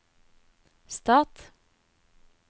stat